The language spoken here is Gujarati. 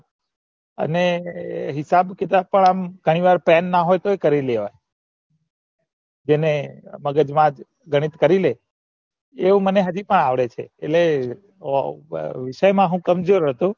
અને હિસાબ કિતાબ આમ ગણીવાર pen ના હોય કરી લેવાના જેને મગજમા જ ગણિત કરી લે એવું મને હજી પણ અવડે છે એટલે ફક્ત વિષય મા હું કમજોર હતો